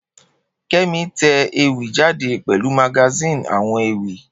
Kemi te ewì jáde pèlu magazine àwon ewì